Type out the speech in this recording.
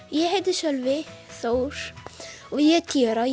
ég heiti Sölvi Þór og ég er tíu ára